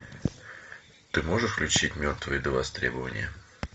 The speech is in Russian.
ты можешь включить мертвые до востребования